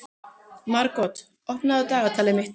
Margot, opnaðu dagatalið mitt.